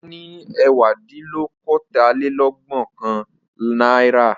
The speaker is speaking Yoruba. Ọlá ní ẹ̀wádínlókòólélẹ́ẹ̀dẹ́gbẹ̀ọ̀kànlá náírà.